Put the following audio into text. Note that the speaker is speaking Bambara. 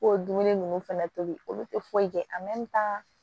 Ko dumuni ninnu fɛnɛ tobi olu te foyi kɛ